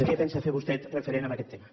què pensa fer vostè referent a aquest tema